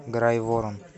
грайворон